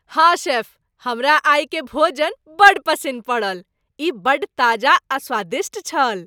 हँ, शेफ, हमरा आइक भोजन बड्ड पसिन्न पड़ल। ई बड्ड ताजा आ स्वादिष्ट छल।